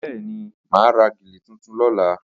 Bẹ́ẹ̀ni, mà á ra gèlè tuntun lọ́la